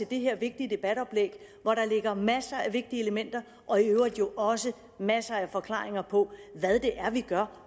det her vigtige debatoplæg hvor der ligger masser af vigtige elementer og i øvrigt også masser af forklaringer på hvad det er vi gør